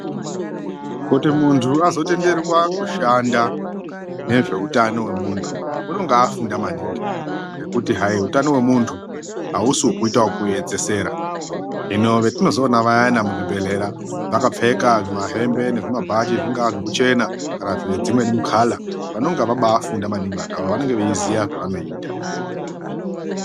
Kuti muntu azotenderwa kushanda ngezveutano wemuntu anenge afunda maningi ngokuti hayi utano wemuntu hausi wekuita wekuyedzesera. Hino vetinozoona vayana muzvibhedhlera vakapfeka zvimahembe ngezvimabhachi zvingava zvokuchena kana zvedzimweni mikala vanenge vafunda maningi vantu avavo vanenge veyiziva zvavanenge veyita.